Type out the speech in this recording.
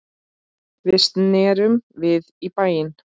Við snerum við í bæinn.